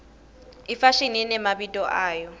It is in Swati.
ifashimi imemabito ayo